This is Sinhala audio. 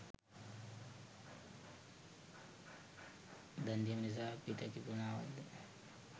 දන්දීම නිසා පිත කිපුනා වත්ද?